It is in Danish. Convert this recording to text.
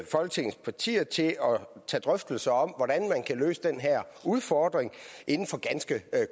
folketingets partier til drøftelser om hvordan man kan løse den her udfordring inden for ganske